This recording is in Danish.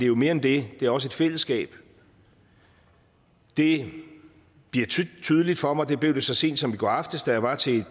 jo mere end det det er også et fællesskab det bliver tydeligt for mig det blev det så sent som i går aftes da jeg var til